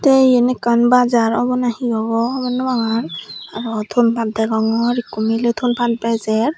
te iyen ekkan bazar obo na he obo hobor nw pangor aro thon pat degongor ekku miley thon pat bejer.